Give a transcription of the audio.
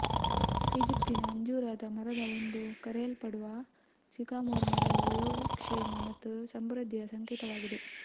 ಈಜಿಪ್ಟಿನ ಅಂಜೂರದ ಮರದ ಎಂದು ಕರೆಯಲ್ಪಡುವ ಸಿಕಾಮೊರ್ ಮರವು ಯೋಗಕ್ಷೇಮ ಮತ್ತು ಸಮೃದ್ಧಿಯ ಸಂಕೇತವಾಗಿದೆ